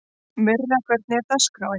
Myrra, hvernig er dagskráin?